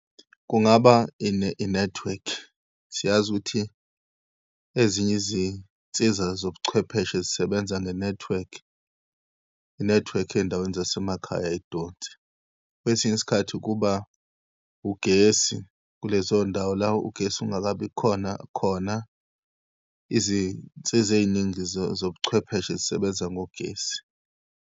Kungaba inethiwekhi, siyazi ukuthi ezinye izinsiza zobuchwepheshe zisebenza ngenethiwekhi. Inethiwekhi eyindaweni zasemakhaya ayidonsi. Kwesinye isikhathi kuba ugesi kulezo ndawo la ugesi ungakabikhona khona, izinsiza eyiningi zobuchwepheshe zisebenza ngogesi.